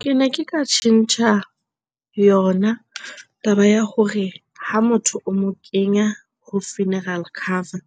Kene ke ka tjhentjha yona taba ya hore ha motho o mo kenya ho funeral cover,